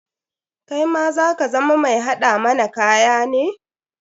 Kaima za ka zama mai haɗa mana kaya ne?